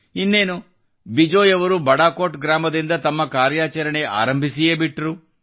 ಇನ್ನೇನು ಬಿಜಯ್ ಅವರು ಬಡಾಕೋಟ್ ಗ್ರಾಮದಿಂದ ತಮ್ಮ ಕಾರ್ಯಾಚರಣೆ ಆರಂಭಿಸಿಯೇ ಬಿಟ್ಟರು